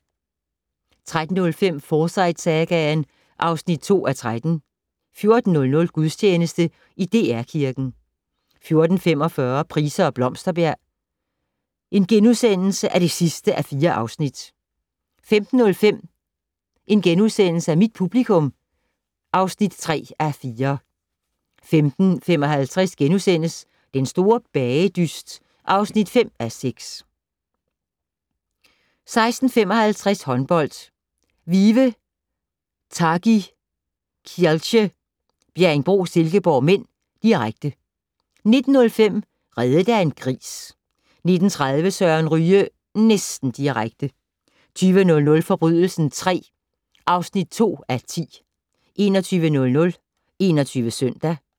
13:05: Forsyte-sagaen (2:13) 14:00: Gudstjeneste i DR Kirken 14:45: Price og Blomsterberg (4:4)* 15:05: Mit publikum (3:4)* 15:55: Den store bagedyst (5:6)* 16:55: Håndbold: Vive Targi Kielce-Bjerringbro Silkeborg (m), direkte 19:05: Reddet af en gris 19:30: Søren Ryge - næsten direkte 20:00: Forbrydelsen III (2:10) 21:00: 21 Søndag